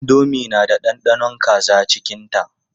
Indomi na da ɗanɗanon kaza cikinta.